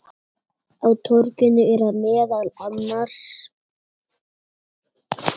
Á torginu eru meðal annars